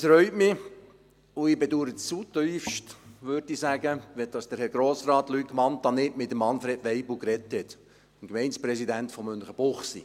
Es reut mich, und ich bedaure zutiefst, dass Herr Grossrat Luc Mentha nicht mit Manfred Waibel gesprochen hat, dem Gemeindepräsidenten von Münchenbuchsee.